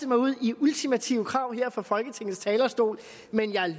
mig ud i ultimative krav her fra folketingets talerstol men jeg